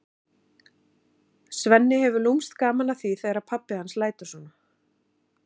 Svenni hefur lúmskt gaman af því þegar pabbi hans lætur svona.